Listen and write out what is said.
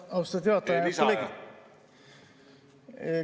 Aitäh!